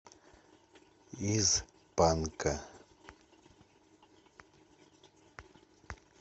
из панка